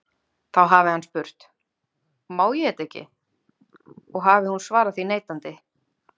Þá hafi hann spurt: Má ég þetta ekki? og hafi hún svarað því neitandi.